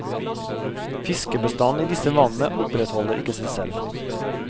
Fiskebestanden i disse vannene opprettholder ikke seg selv.